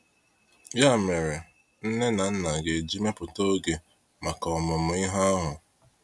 Ya mere, nne na nna ga eji mepụta oge maka ọmụmụ ihe ahụ.